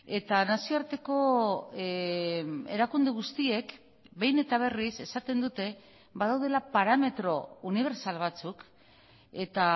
eta nazioarteko erakunde guztiek behin eta berriz esaten dute badaudela parametro unibertsal batzuk eta